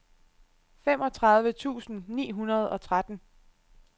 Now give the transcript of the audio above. femogtredive tusind ni hundrede og tretten